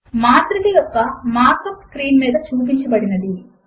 మాత్రిక యొక్క mark up screen మీద చూపించబడినది